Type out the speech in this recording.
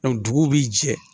dugu bi jɛ